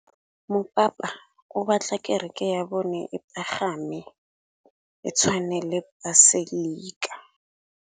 Mopapa o batla kereke ya bone e pagame, e tshwane le paselika.